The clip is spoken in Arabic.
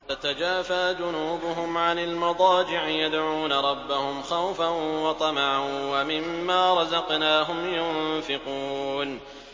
تَتَجَافَىٰ جُنُوبُهُمْ عَنِ الْمَضَاجِعِ يَدْعُونَ رَبَّهُمْ خَوْفًا وَطَمَعًا وَمِمَّا رَزَقْنَاهُمْ يُنفِقُونَ